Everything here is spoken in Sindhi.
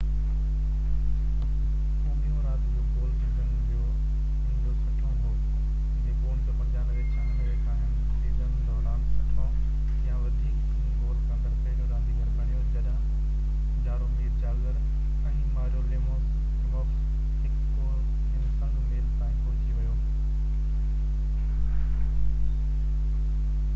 هو ٻيو رات جو گول سيزن جو هن جو 60 هون هو جيڪو 1995-96 کان هڪ سيزن دوران 60 يا وڌيڪ گول ڪندڙ پهريون رانديگر بڻيو جڏهن جارومير جاگر ۽ ماريو ليميوڪس هڪ ڪو هن سنگ ميل تائين پهچي ويو